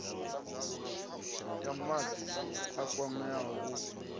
ya wadi a kwameaho u